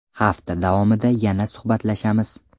Hafta davomida yana suhbatlashamiz.